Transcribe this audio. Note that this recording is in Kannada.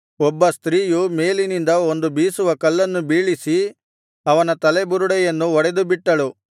ಒಬ್ಬ ಸ್ತ್ರೀಯು ಮೇಲಿನಿಂದ ಒಂದು ಬೀಸುವ ಕಲ್ಲನ್ನು ಬೀಳಿಸಿ ಅವನ ತಲೆಬುರುಡೆಯನ್ನು ಒಡೆದುಬಿಟ್ಟಳು